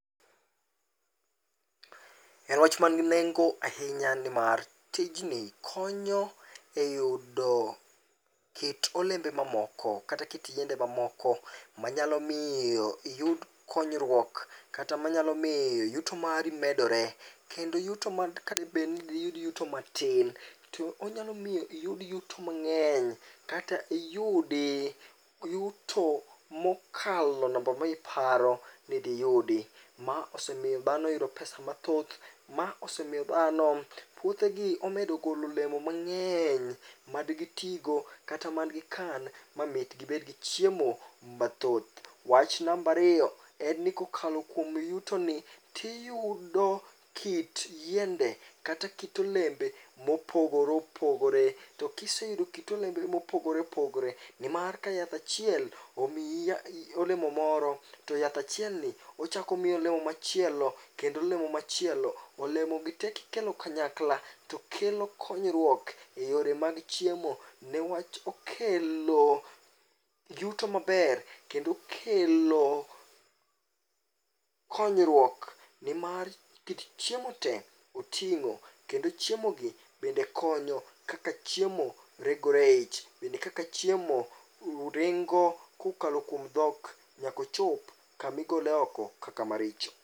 E wach man gi nengo ahinya nimar tijni konyo ahinya e yudo kit olembe mamoko kata kit yiende mamoko. Manyalo miyo iyud konyruok, kata manyalo miyo yuto mari medore. Kendo yuto mag kadebed ni diyud yuto matin, to onyalo miyo iyud yuto mang'eny. Kata iyudi yuto mokalo namba ma iparo ni diyudi. Ma osemiyo dhano yudo pesa mathoth. Ma osemiyo dhano puothegi omedo golo olemo mang'eny, madgi tigo kata madgi kan ma mit gibedgi chiemo mathoth. Wach nambariyo en ni kokalo kuom yuto ni, tiyudo kit yiende kata kit olembe mopogore opogore. To kiseyudo kit olembe mopogore opogore, nimar ka yath achiel omiyi olemo moro, to yath achielni ochakomiyi olemo machielo, kendo olemo machielo. Olemo gi te kikelo kanyakla to kelo konyruok e yore mag chiemo. Newach okelo yuto maber, kendo okelo konyruok nimar kit chiemo te oting'o kendo chiemo gi bende konyo. Kaka chiemo regore eich, bende kaka chiemo ringo kokalo kuom dhok nyakochop kamigole oko kaka maricho.